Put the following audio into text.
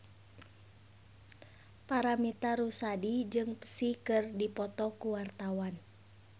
Paramitha Rusady jeung Psy keur dipoto ku wartawan